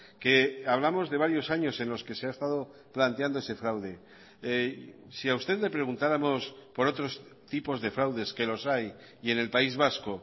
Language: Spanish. que hablamos de varios años en los que se ha estado planteando ese fraude si a usted le preguntáramos por otros tipos de fraudes que los hay y en el país vasco